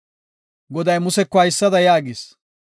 Goday Museko haysada yaagis;